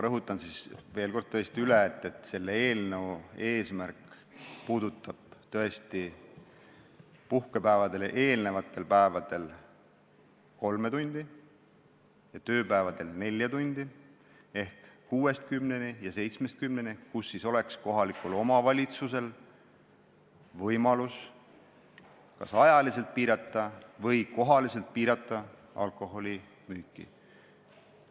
Ma rõhutan siis veel kord üle: see eelnõu puudutab tõesti puhkepäevadele eelnevatel päevadel kolme tundi, tööpäevadel nelja tundi ehk aega kella kuuest kümneni ja seitsmest kümneni, kui kohalikul omavalitsusel oleks võimalus kas ajaliselt või kohaliselt alkoholimüüki piirata.